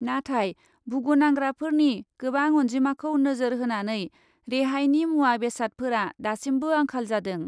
नाथाय भुगुनांग्राफोरनि गोबां अन्जिमाखौ नोजोर होनानै रेहायनि मुवा बेसादफोरा दासिमबो आंखाल जादों।